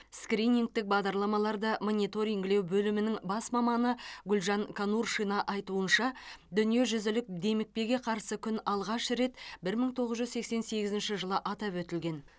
скринингтік бағдарламаларды мониторингілеу бөлімінің бас маманы гүлжан конуршина айтуынша дүниежүзілік демікпеге қарсы күн алғаш рет бір мың тоғыз жүз сексен сегізінші жылы атап өтілген